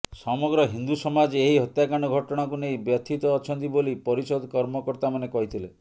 ସମଗ୍ର ହିନ୍ଦୁ ସମାଜ ଏହି ହତ୍ୟାକାଣ୍ଡ ଘଟଣାକୁ ନେଇ ବ୍ୟଥିତ ଅଛନ୍ତି ବୋଲି ପରିଷଦ କର୍ମକର୍ତାମାନେ କହିଥିଲେ